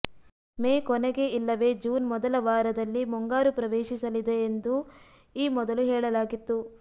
ಮೇ ಕೊನೆಗೆ ಇಲ್ಲವೇ ಜೂನ್ ಮೊದಲ ವಾರದಲ್ಲಿ ಮುಂಗಾರು ಪ್ರವೇಶಿಸಲಿದೆ ಎಂದು ಈ ಮೊದಲು ಹೇಳಲಾಗಿತ್ತು